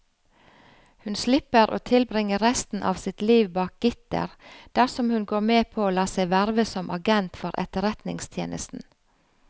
Hun slipper å tilbringe resten av sitt liv bak gitter dersom hun går med på å la seg verve som agent for etterretningstjenesten.